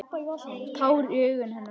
Tár í augum hennar.